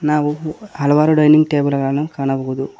ನಾವು ಹಲವಾರು dining table ಗಳನ್ನು ಕಾಣಬಹುದು.